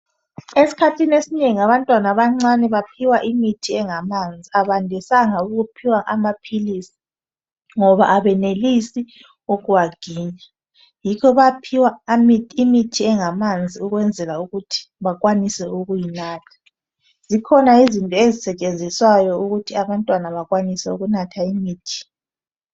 Eskhathini esinengi abantwana abancane baphiwa imithi engamanzi abandisanga ukuphiwa amaphilisi ngoba abenelisi ukuwaginya yikho baphiwa imithi engamanzi ukwenzela ukuthi bakwanise ukuyinatha zikhona izinto ezisetshenziswayo ukuthi abantwana bakwanise ukunatha imithi